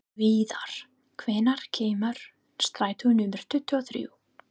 Viðar, hvenær kemur strætó númer tuttugu og þrjú?